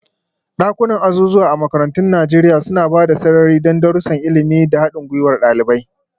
Dakunan azuzuwa a makarantun Najeriya suna ba da sarari don darussan ilimi da haɗin gwiwar ɗalibai.